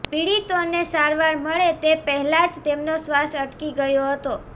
પીડિતોને સારવાર મળે તે પહેલાં જ તેમનો શ્વાસ અટકી ગયો હતો